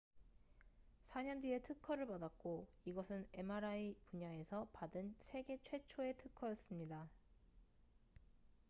4년 뒤에 특허를 받았고 이것은 mri 분야에서 받은 세계 최초의 특허였습니다